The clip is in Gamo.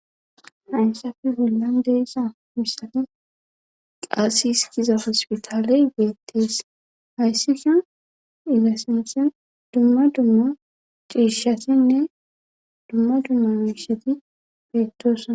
Haysappe bolla di'iza misilen qases giza hosputaley betes haysika izza sinthan dumma duma cishatine dumma dumma mishati betosona